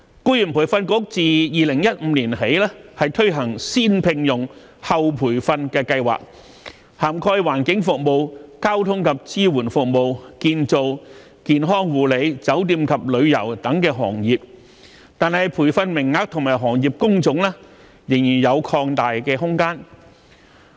僱員再培訓局自2015年起推行"先聘用、後培訓"計劃，涵蓋環境服務、交通及支援服務、建造、健康護理、酒店及旅遊等行業，但培訓名額和行業工種仍有擴大的空間。